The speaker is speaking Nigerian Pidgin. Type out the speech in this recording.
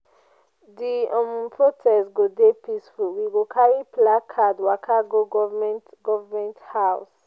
di um protest go dey peaceful we go carry placard waka go government government house.